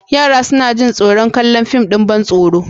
Yara suna jin tsaron kallon fim ɗin ban tsaro.